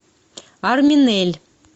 арминель